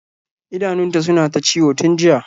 idanunta suna ta ciwon tun jiya